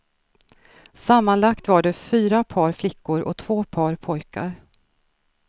Sammanlagt var det fyra par flickor och två par pojkar.